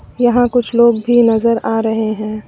यहां कुछ लोग भी नजर आ रहे हैं।